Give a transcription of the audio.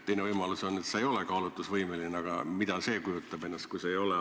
Teine võimalus on, et sa ei ole kaalutlusvõimeline – mida see üldse endast kujutab, et ei olda kaalutlusvõimeline?